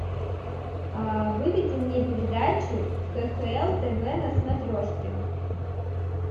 выведи мне передачу кхл тв на смотрешке